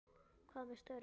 Hvað með störf?